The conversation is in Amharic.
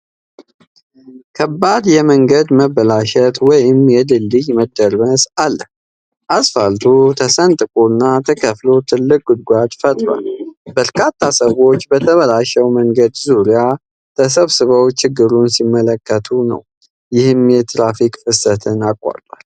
ከባድ የመንገድ መበላሸት ወይም የድልድይ መደርመስ አለ። አስፋልቱ ተሰንጥቆና ተከፍሎ ትልቅ ጉድጓድ ፈጥሯል። በርካታ ሰዎች በተበላሸው መንገድ ዙሪያ ተሰብስበው ችግሩን ሲመለከቱ ነው፤ ይህም የትራፊክ ፍሰትን አቋርጧል።